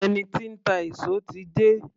Ẹni tí ń ta èso ti dé